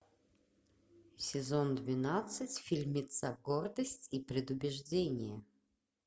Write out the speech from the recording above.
сезон двенадцать фильмица гордость и предубеждение